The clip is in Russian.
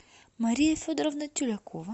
мария федоровна тюлякова